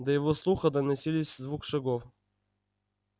до его слуха доносились звуки шагов